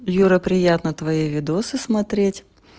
юра приятно твои видосы смотреть